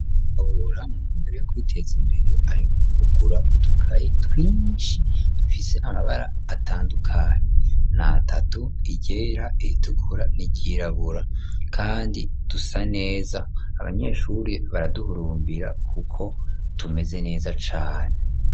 Rabura mu mumbere yo kwiteza imbere ariuka kugura udukayi twinshi dufise amabara atandukani natatu igera iritukura nirirabura, kandi dusa neza abanyeshuri baraduhurumbira, kuko tumeze neza cane.